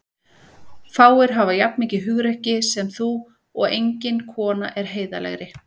Fáir hafa jafn mikið hugrekki sem þú og engin kona er heiðarlegri.